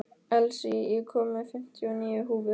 Elsí, ég kom með fimmtíu og níu húfur!